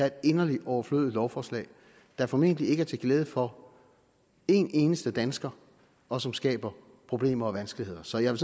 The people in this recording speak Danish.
et inderlig overflødigt lovforslag der formentlig ikke er til glæde for en eneste dansker og som skaber problemer og vanskeligheder så jeg